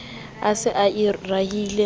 a se a e rahile